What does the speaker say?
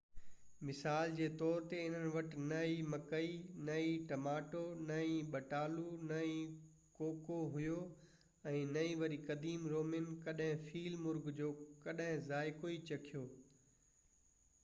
مثال جي طور تي انهن وٽ نه ئي مڪئي نه ئي ٽماٽو نه ئي ٻٽالو نه ڪوڪو هيو ۽ نه ئي وري قديم رومين ڪڏهن فيل مرغ جو ڪڏهن ذائقو ئي چکيو